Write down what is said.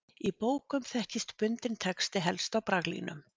Í bókum þekkist bundinn texti helst á braglínum.